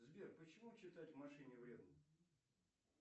сбер почему читать в машине вредно